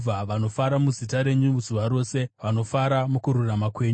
Vanofara muzita renyu zuva rose; vanofara mukururama kwenyu.